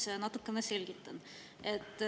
No ma natukene selgitan.